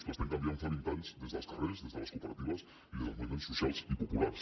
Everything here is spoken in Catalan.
l’estem canviant fa vint anys des dels carrers des de les cooperatives i des dels moviments socials i populars